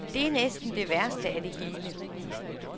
Det er næsten det værste af det hele.